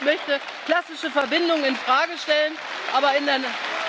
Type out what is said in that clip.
Kein Mensch möchte klassische Verbindungen in Frage stellen, aber in einem